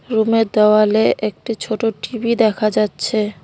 রুমের দেওয়ালে একটি ছোট টি_ভি দেখা যাচ্ছে।